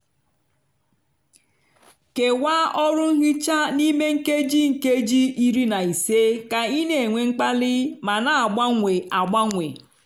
kewaa ọrụ nhicha n'ime nkeji nkeji iri na ise ka ị na-enwe mkpali ma na-agbanwe agbanwe.